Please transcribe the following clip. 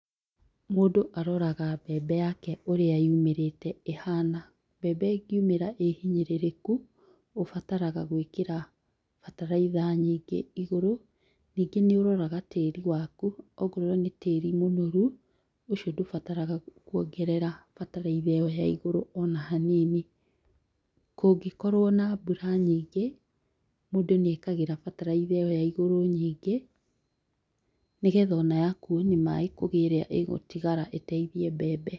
Mũndũ aroraga mbembe yake ũria yumĩrĩte ĩhana, mbembe ĩngĩumĩra ĩhinyĩrĩrĩku ũbataraga gũĩkĩra bataraitha nyingĩ igũrũ, ningĩ nĩũroraga tĩri waku ongorwo nĩ tĩri mũnoru ũcio ndũbataraga kuongerera bataitha ĩyo ya igũrũ ona hanini. Kũngĩkorwo na mbura nyingĩ mũndũ nĩekagĩra bataraitha ĩyo ya igũrũ nyingĩ nĩgetha ona yakuo nĩ maaĩ kũrĩ ĩrĩa ĩgũtigara ĩteithie mbembe.